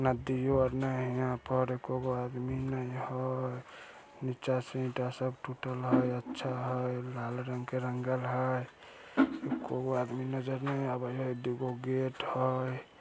नदियों आर ने हेय यहाँ पर एको गो आदमी ने हेय नीचा से ईटा सब टूटल हेयअच्छा हेय लाल रंग के रंगल हेय एको गो आदमी नजर ने आवे हेय दुगो गेट हेय।